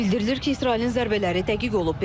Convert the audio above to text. Bildirilir ki, İsrailin zərbələri dəqiq olub.